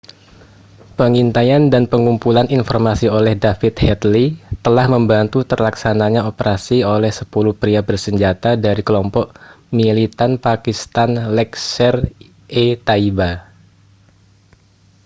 pengintaian dan pengumpulan informasi oleh david headley telah membantu terlaksananya operasi oleh 10 pria bersenjata dari kelompok militan pakistan laskhar-e-taiba